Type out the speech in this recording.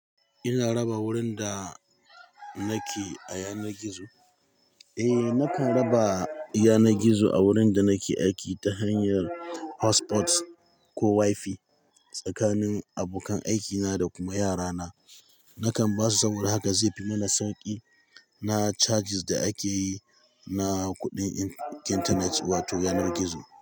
Ina raba wurin da nake a yanar gizo? Eh, nakan raba yanar gizo a wurin da nake aiki ta hanyar hotspots ko Wi-Fi tsakanin abokan aikina da kuma yarana. Nakan ba su saboda haka zai fi mana sauƙi na charges da ake yi na kuɗin int-internet wato yanar gizo.